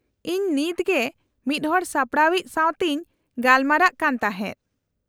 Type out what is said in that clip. -ᱤᱧ ᱱᱤᱛᱜᱮ ᱢᱤᱫ ᱦᱚᱲ ᱥᱟᱯᱲᱟᱣᱤᱡ ᱥᱟᱶᱛᱮᱧ ᱜᱟᱯᱟᱞᱢᱟᱨᱟᱜ ᱠᱟᱱ ᱛᱟᱦᱮᱫ ᱾